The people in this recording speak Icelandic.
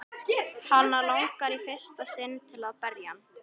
Hana langar í fyrsta sinn til að berja hann.